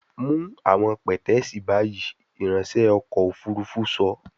Mu awọn pẹtẹẹsì bayi, iranṣẹ ọkọ ofurufu sọ